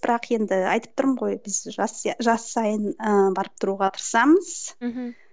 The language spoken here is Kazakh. бірақ енді айтып тұрмын ғой біз жас жас сайын ы барып тұруға тырысамыз мхм